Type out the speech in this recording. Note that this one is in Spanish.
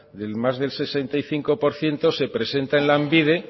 del más del sesenta y cinco por ciento se presenta en lanbide